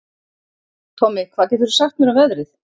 Tommi, hvað geturðu sagt mér um veðrið?